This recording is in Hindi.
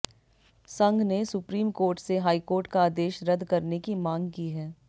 संघ ने सुप्रीम कोर्ट से हाई कोर्ट का आदेश रद्द करने की मांग की है